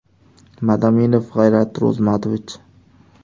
Madaminov G‘ayrat Ro‘zmatovich.